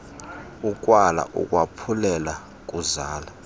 ukwala ukwaphulela kuzala